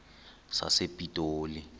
sasepitoli